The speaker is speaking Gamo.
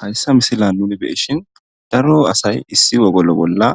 hayssa misila nuni beshin daro asay issi wogolo bolla